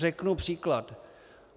Řeknu příklad.